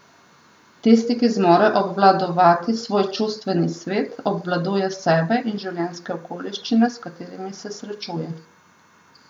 Tisti, ki zmore obvladovati svoj čustveni svet, obvladuje sebe in življenjske okoliščine, s katerimi se srečuje.